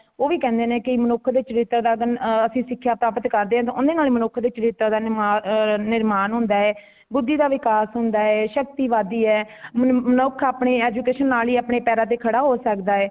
ਉਹ ਵੀ ਕੇਂਦੇ ਨੇ ਕੀ , ਮਨੁੱਖ ਦੇ ਚਰਿਤ੍ਰ ਦਾ ਆ ਅਸੀਂ ਸਿੱਖਾਂ ਪ੍ਰਾਪਤ ਕਰਦੇ ,ਉਦ੍ਹੇ ਨਾਲ ਹੀ ਮਨੁੱਖ ਦੇ ਚਰਿਤ੍ਰ ਦਾ ਨੇਮਾਂ ਆ ਨਿਰਮਾਨ ਹੋਂਦਾ ਹੈ ਬੁੱਧੀ ਦਾ ਵਿਕਾਸ ਹੋਂਦਾ ਹੇ , ਸ਼ਕਤੀ ਵਧਦੀ ਹੈ ਮ ਮਨੁੱਖ ਆਪਣੀ education ਨਾਲ ਹੀ ਆਪਣੇ ਪੈਰਾਂ ਤੇ ਖੜਾ ਹੋ ਸਕਦਾ ਹੈ